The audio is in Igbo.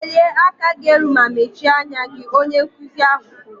Welie aka gị elu ma mechie anya gị! Onye nkụzi ahụ kwuru